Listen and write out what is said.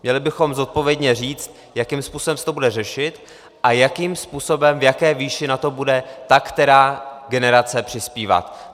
Měli bychom zodpovědně říct, jakým způsobem se to bude řešit a jakým způsobem, v jaké výši na to bude ta která generace přispívat.